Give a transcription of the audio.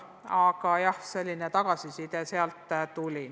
Aga jah, selline tagasiside sealt tuli.